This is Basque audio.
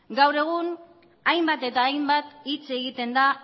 gaur egun hainbat eta hainbat hitz egiten da